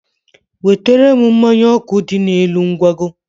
wetere m mmanya ọkụ dị n'elu ngwago.